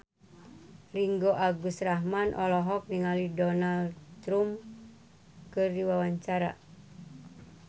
Ringgo Agus Rahman olohok ningali Donald Trump keur diwawancara